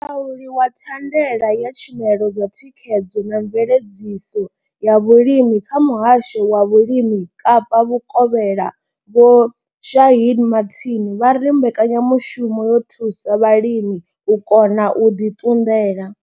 Mulauli wa thandela ya tshumelo dza thikhedzo na mveledziso ya vhulimi kha muhasho wa vhulimi Kapa vhukovhela Vho Shaheed Martin vha ri mbekanyamushumo yo thusa vhalimi u kona u ḓi ṱunḓela.